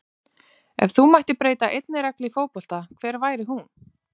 Ef þú mættir breyta einni reglu í fótbolta hver væri hún?